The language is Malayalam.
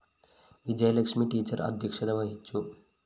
വിജയലക്ഷ്മി ടീച്ചർ അധ്യക്ഷത വഹിച്ചു